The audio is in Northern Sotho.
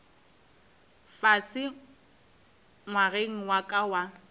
fase ngwageng wa ka wa